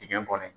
Digɛn kɔnɔ